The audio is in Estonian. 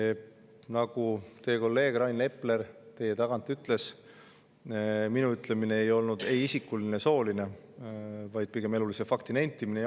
Nagu teie kolleeg Rain Epler teie tagant ütles, minu ütlemine ei olnud ei isikuline ega sooline, vaid pigem elulise fakti nentimine.